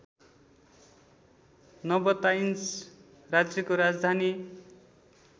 Nabataeans राज्यको राजधानी